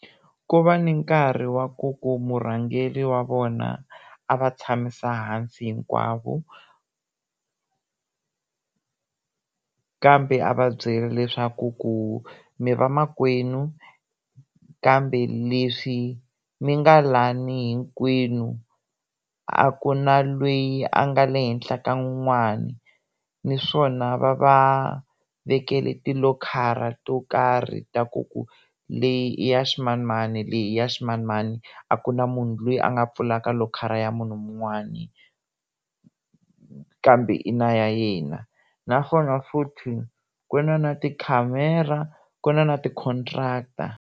Ku va ni nkarhi wa ku ku murhangeri wa vona a va tshamisa hansi hinkwavo kambe a va byela leswaku ku mi vamakwenu kambe leswi mi nga lani hinkwenu a ku na lweyi a nga le henhla ka un'wani naswona va va vekele tilokhara to karhi ta ku ku leyi i ya swimanimani leyi i ya swimanimani a ku na munhu loyi a nga pfalaka lokhara ya munhu wun'wani kambe i na ya yena naswona futhi ku na na tikhamera ku na na ti-contract.